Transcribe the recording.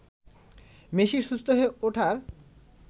মেসির সুস্থ হয়ে ওঠার